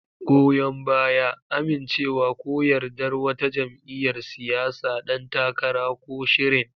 Goyon baya: Amincewa ko yardar wata jam'iyyar siyasa, ɗan takara, ko shirin.